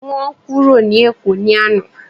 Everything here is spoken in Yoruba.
Wọn kúrò ní èkó ni àná